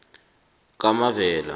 kamavela